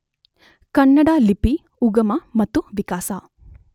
ಕನ್ನಡ ಲಿಪಿ ಉಗಮ ಮತ್ತು ವಿಕಾಸ